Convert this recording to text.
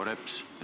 Proua Reps!